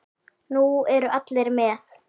Nú eru allir með!